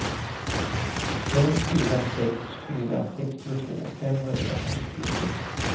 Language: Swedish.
fem fyra sex fyra sextiotvå femhundrasextiosju